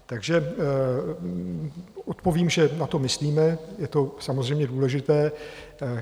Takže odpovím, že na to myslíme, je to samozřejmě důležité.